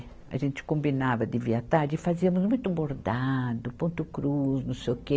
A gente combinava de vir à tarde e fazíamos muito bordado, ponto cruz, não sei o quê.